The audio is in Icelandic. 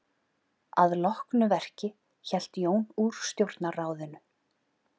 Að loknu verki hélt Jón úr stjórnarráðinu.